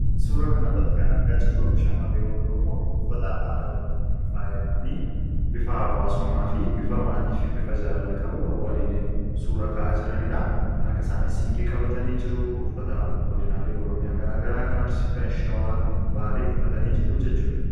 suura kan arratti kan argaa jirru shammarreewwan oromoo uffata aadaa oromootiin faayamanii bifaa hawwaasummaa fi bifa maatii fi bifa jaalala qabuun waaliin suura ka'aa jiraniidha harka isaanin siinqee qabatanii jiruu uffata godinaalee oromiyaa garaagaraa kan arsii kan shawaa kan baalee uffatanii jiru jechuudha